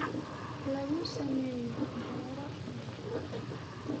lagu sameeyo beero yaryar.